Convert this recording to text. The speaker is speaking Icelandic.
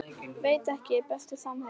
Veit ekki Besti samherji?